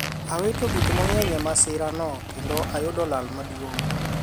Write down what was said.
awito gik mang'eny e masirano kendo ayudo lal maduong'